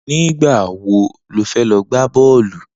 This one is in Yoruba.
Nigbà wó ló fè lọ gbá bọlú?